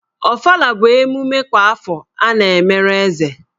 Ofala bụ emume kwa afọ a na-emere Eze.